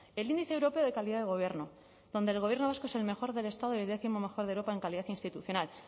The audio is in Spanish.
el índice europeo de calidad de gobierno donde el gobierno vasco es el mejor del estado y el décimo mejor de europa en calidad institucional